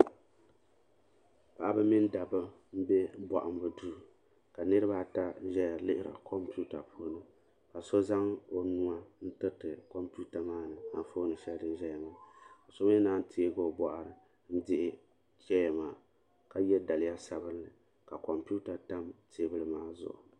Paɣaba mini dabba m be bohambu duu ka niriba ata ʒɛya n lihiri kompita puuni ka so zaŋ o nuu n tiriti kompita maa ni anfooni shɛli din ʒɛya ŋɔ ka so mi naanyi teegi o bɔɣiri n dihi cheya maa ka ye daliya sabinli ka kompita tam teebuli maa zuɣu.